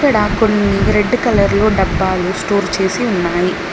ఇక్కడ కొన్ని red colour లో డబ్బాలు స్టోర్ చేసి ఉన్నాయి.